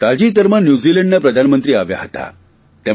તાજેતરમાં ન્યૂઝીલેન્ડના પ્રધાનમંત્રી આવ્યા હતા